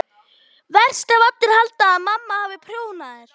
Verst ef allir halda að mamma hafi prjónað þær.